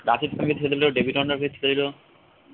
রাশিদ খান কে ছেড়ে দিল ডেভিট ওয়ার্নারকে ছেড়ে দিল